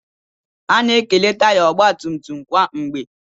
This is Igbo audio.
Ana-ekele taya ọgbatumtum kwa mgbe.